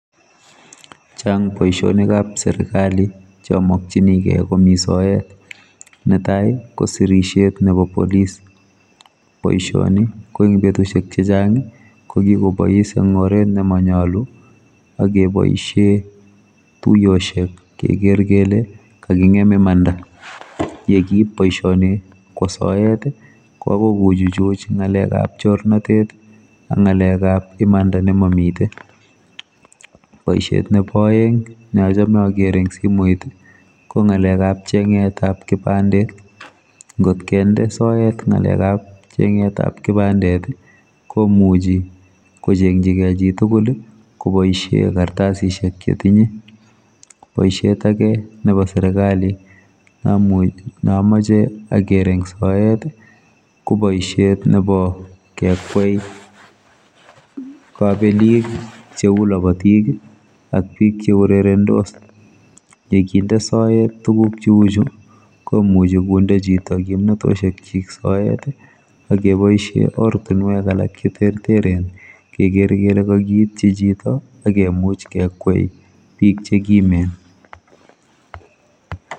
Chang boisionikab serikali cheamokyinigei komi soet netai kosirisiet nebo polis boisioni ko eng betusiek chechang kokikobois eng oret nemanyalu akeboisie tuiyosiek keker kele kekingem imanda yekiip boisioni kwa soet koagoi kochuchuch ngalekab chornotet ak ngalekab imanda ne mamite. Boisiet nebo aeng neochome ager eng simoit kongalekab chengetab kipandet ngotkende soet ngalekab chegetab kipandet komuchi kochengchigei chitugul koboisie kartasisiek chetinye boisiet ake nebo serikali neamoche aker eng soet kongalekab kekwei kabelik cheu labotik ak bik cheurerendos yekinde soet tuguk cheuchu komuchi konde chito kimnatosiek chik soet akeboisie ortunwek alak cheterteren keker kele kakiityi chito akemuch kekwei bik chekimen